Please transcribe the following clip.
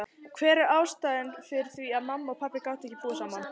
Hver var ástæðan fyrir því að mamma og pabbi gátu ekki búið saman?